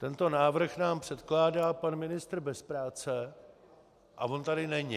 Tento návrh nám předkládá pan ministr bez práce a on tady není!